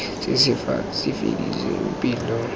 se se sa fediseng pelo